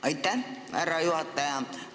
Aitäh, härra juhataja!